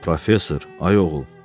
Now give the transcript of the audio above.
Professor, ay oğul.